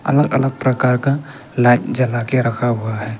अलग अलग प्रकार का लाइट जला के रखा हुआ है।